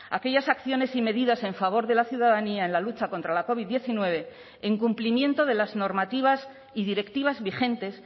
a aquellas acciones y medidas en favor de la ciudadanía en la lucha contra la covid diecinueve en cumplimiento de las normativas y directivas vigentes